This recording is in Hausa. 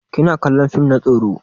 Kina kallon fim na tsoro?